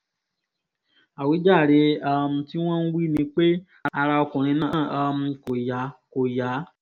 àwíjàre um tí wọ́n ń wí ni pé ara ọkùnrin náà um kò yá kò yá